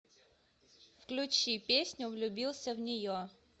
включи песню влюбился в нее